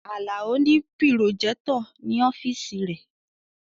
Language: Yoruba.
Alao ni pirojectọ ni ọfiisi re